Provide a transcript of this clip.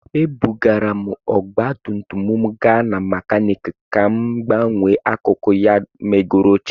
Ebugara m ọgba tum tum m gaa mekaniki ka m gbanwee akụkụ ya megoro ochie